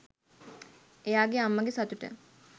එයාගේ අම්මගේ සතුට